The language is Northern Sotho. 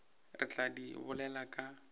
re tla di bolela ka